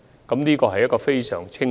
這個政策非常清晰。